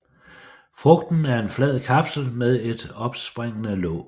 Frugten er en flad kapsel med et opspringende låg